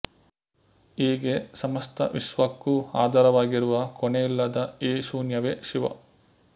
ಹೀಗೆ ಸಮಸ್ತ ವಿಶ್ವಕ್ಕೂ ಆಧಾರವಾಗಿರುವ ಕೊನೆಯಿಲ್ಲದ ಈ ಶೂನ್ಯವೇ ಶಿವ